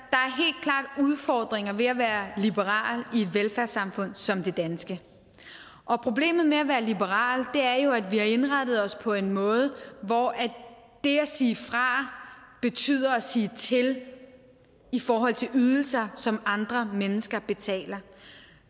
det udfordringer ved at være liberal i et velfærdssamfund som det danske problemet med at være liberal er jo at vi har indrettet os på en måde hvor det at sige fra betyder at sige til i forhold til ydelser som andre mennesker betaler